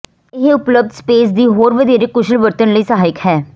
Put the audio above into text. ਇਹ ਉਪਲੱਬਧ ਸਪੇਸ ਦੀ ਹੋਰ ਵਧੇਰੇ ਕੁਸ਼ਲ ਵਰਤਣ ਲਈ ਸਹਾਇਕ ਹੈ